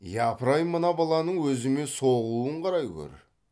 япырай мына баланың өзіме соғуын қарай гөр